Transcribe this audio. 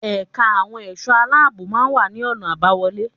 Ẹ̀ka àwọn ẹ̀ṣọ́ aláàbò máa wà ní ọ̀nà àbáwọlé.